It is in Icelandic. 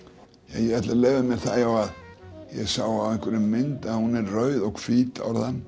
en ég ætla að leyfa mér það já að ég sá á einhverri mynd að hún er rauð og hvít